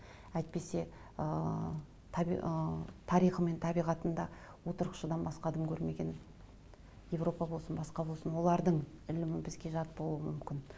әйтпесе ыыы ыыы тарихы мен табиғатында отырықшыдан басқа дым көрмеген еуропа болсын басқа болсын олардың ілімі бізге жат болуы мүмкін